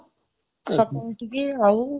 ସକାଳୁ ଉଠିକି ଆଉ..